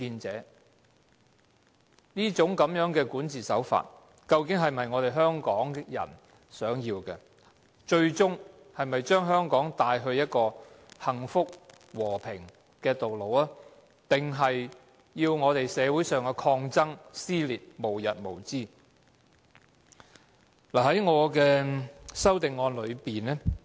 這一種管治手法是否我們香港人想要，最終會將香港領往一條走向幸福、和平的道路，還是令社會的抗爭、撕裂無日無之呢？